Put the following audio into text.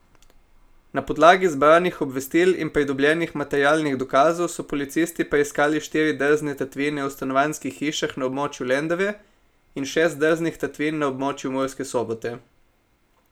Na podlagi zbranih obvestil in pridobljenih materialnih dokazov so policisti preiskali štiri drzne tatvine v stanovanjskih hišah na območju Lendave in šest drznih tatvin na območju Murske Sobote.